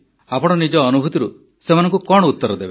ଆପଣ ନିଜ ଅନୁଭୂତିରୁ ସେମାନଙ୍କୁ କଣ ଉତର ଦେବେ